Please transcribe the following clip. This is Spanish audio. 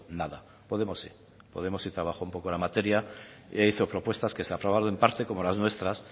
nada podemos sí podemos sí trabajó un poco la materia e hizo propuestas que se aprobaron en parte como las nuestras